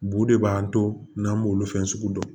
Bu de b'an to n'an b'olu fɛn sugu dɔn